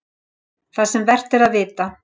ÞAÐ SEM ER VERT AÐ VITA